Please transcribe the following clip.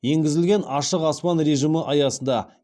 енгізілген ашық аспан режимі аясында